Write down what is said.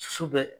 Su bɛ